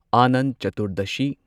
Anant Chaturdashi